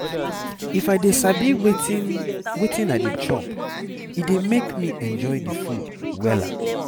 if i dey sabi wetin wetin i dey chop e dey make me enjoy the food wella